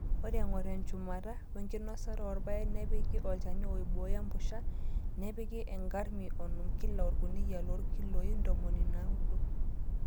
Ore eng'or enchumata wenkinosata oorpaek nepiki olchani oibooyo empusha, nepiki ngrami onom kila orkuniyia loorkiloi ntomoni naudo.